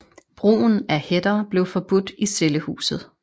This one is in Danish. Brugen af hætter blev forbudt i cellehuset